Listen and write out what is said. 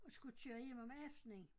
Og skulle køre hjem om aftenen